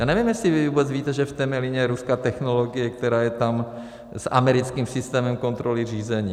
Já nevím, jestli vy vůbec víte, že v Temelíně je ruská technologie, která je tam s americkým systémem kontroly řízení.